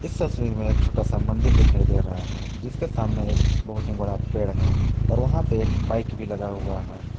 इस तस्वीर में एक छोटा सा मंदिर दिखाई दे रहा है जिसके सामने एक बहुत ही बड़ा पेड़ है और वहां पे एक बाइक भी लगा हुआ है।